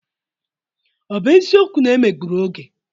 Ọ bụ eziokwu na e megburu Oge?